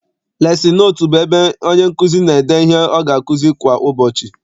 Lesin notu bụ ebe onye nkụzi n'ede ihe ọ ga akuzi kwa ụbọchị.